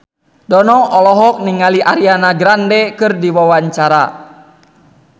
Dono olohok ningali Ariana Grande keur diwawancara